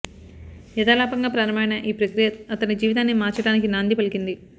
యథాలాపంగా ప్రారంభమైన ఈ ప్రక్రియ అతని జీవితాన్ని మార్చడానికి నాంది పలికింది